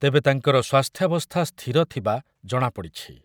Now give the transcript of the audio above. ତେବେ ତାଙ୍କର ସ୍ୱାସ୍ଥ୍ୟବସ୍ଥା ସ୍ଥିର ଥିବା ଜଣାପଡ଼ିଛି ।